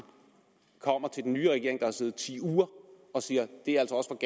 kommer til den nye regering der har siddet ti uger og siger